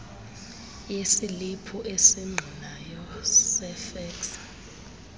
yesiliphu esingqinayo sefeksi